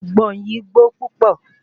Àgbọn yìí gbó púpọ̀